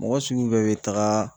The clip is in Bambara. Mɔgɔ sugu bɛɛ be taga